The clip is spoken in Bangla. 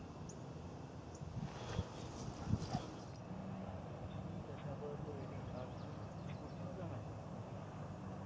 আচ্ছা ঠিক আছে আপাতত এইটাই আর কোন কিছু করতে হবে আমায় নাকি?